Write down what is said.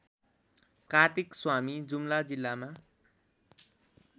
कार्तिकस्वामी जुम्ला जिल्लामा